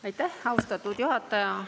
Aitäh, austatud juhataja!